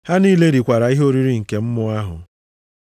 Ha niile rikwara ihe oriri nke mmụọ ahụ.